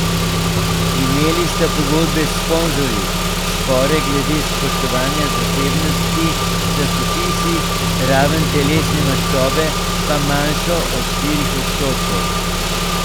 Imeli sta pogodbe s sponzorji, spore glede spoštovanja zasebnosti s časopisi, raven telesne maščobe pa manjšo od štirih odstotkov.